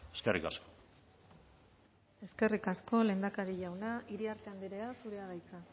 eskerrik asko eskerrik asko lehendakari jauna iriarte andrea zurea da hitza